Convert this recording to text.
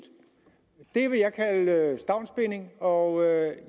det vil jeg kalde stavnsbinding og jeg